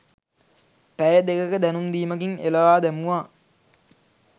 පැය දෙකක දැනුම් දීමකින් එළවා දැමුවා.